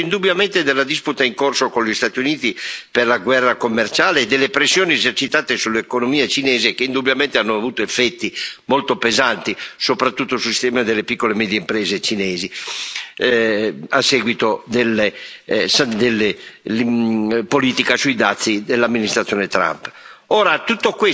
Questa ha risentito indubbiamente della disputa in corso con gli Stati Uniti per la guerra commerciale e delle pressioni esercitate sull'economia cinese, che indubbiamente hanno avuto effetti molto pesanti, soprattutto sul sistema delle piccole e medie imprese cinesi, a seguito della politica sui dazi dell'amministrazione Trump.